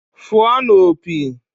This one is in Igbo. Fụọnụ opi!